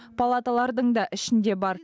палаталардың да ішінде бар